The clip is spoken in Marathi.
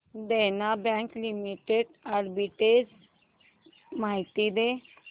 देना बँक लिमिटेड आर्बिट्रेज माहिती दे